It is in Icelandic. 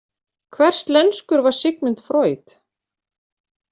Hverslenskur var Sigmund Freud?